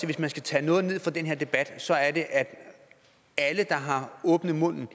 hvis man skal tage noget ned fra den her debat så er det at alle der har åbnet munden